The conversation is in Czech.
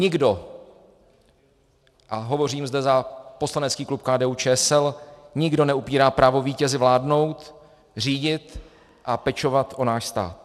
Nikdo, a hovořím zde za poslanecký klub KDU-ČSL, nikdo neupírá právo vítězi vládnout, řídit a pečovat o náš stát.